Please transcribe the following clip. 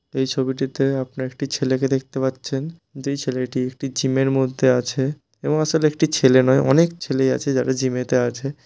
এই ছবিটিতে আপনারা একটি ছেলেকে দেখতে পাচ্ছেন যেই ছেলেটি একটি জিম -এর মধ্যে আছে এবং আসলে একটি ছেলে নয় অনেক ছেলেই আছে যারা জিম -এতে আছে।